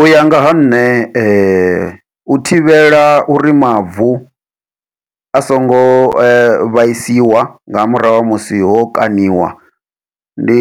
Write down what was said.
Uya nga ha nṋe u thivhela uri mavu a songo vhaisiwa nga murahu ha musi ho kaṋiwa ndi